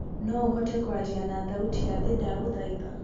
no ũhote kwaria na thaũtĩ ya thĩĩ ndagũthaitha